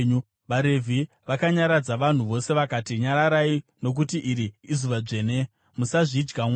VaRevhi vakanyaradza vanhu vose vakati, “Nyararai, nokuti iri izuva dzvene. Musazvidya mwoyo.”